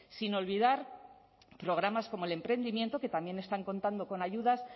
sin olvidar programas como el emprendimiento que también están contando con ayudas